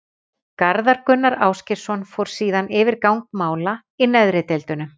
Garðar Gunnar Ásgeirsson fór síðan yfir gang mála í neðri deildunum.